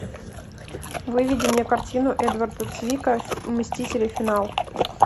выведи мне картину эдварда цвика мстители финал